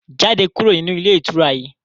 Jáde kúrò nínú ilé ìtura yìí!